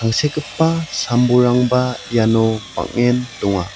sekgipa sam-bolrangba iano bang·en donga.